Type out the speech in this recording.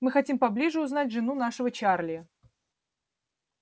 мы хотим поближе узнать жену нашего чарли